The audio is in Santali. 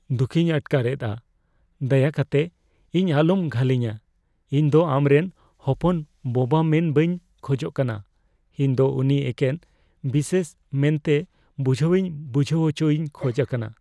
ᱫᱩᱠᱷᱤᱧ ᱟᱴᱠᱟᱨᱮᱫᱼᱟ, ᱫᱟᱭᱟ ᱠᱟᱛᱮᱫ ᱤᱧ ᱟᱞᱚᱢ ᱜᱷᱟᱹᱞᱮᱧᱟ ᱾ ᱤᱧ ᱫᱚ ᱟᱢᱨᱮᱱ ᱦᱚᱯᱚᱱ ᱵᱳᱵᱟ ᱢᱮᱱ ᱵᱟᱹᱧ ᱠᱷᱚᱡᱟᱠᱟᱱᱟ ᱾ ᱤᱧ ᱫᱚ ᱩᱱᱤ ᱮᱠᱮᱱ ᱵᱤᱥᱮᱥ ᱢᱮᱱᱛᱮ ᱵᱩᱡᱷᱟᱹᱣᱤᱧ ᱵᱩᱡᱷᱦᱟᱹᱣ ᱚᱪᱚᱭᱤᱧ ᱠᱷᱚᱡ ᱟᱠᱟᱱᱟ ᱾